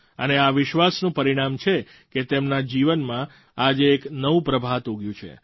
અને આ વિશ્વાસનું પરિણામ છે કે તેમના જીવનમાં આજે એક નવું પ્રભાત ઉગ્યું છે